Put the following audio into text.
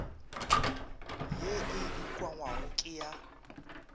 ye e ukangwago ke ya